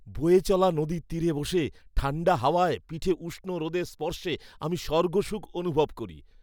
বয়ে চলা নদীর তীরে বসে, ঠাণ্ডা হাওয়ায় পিঠে উষ্ণ রোদের স্পর্শে আমি স্বর্গসুখ অনুভব করি।